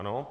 Ano.